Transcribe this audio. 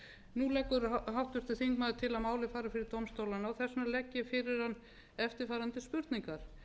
nú leggur háttvirtur þingmaður til að málið fari fyrir dómstólana og þess vegna legg ég fyrir hann eftirfarandi spurningar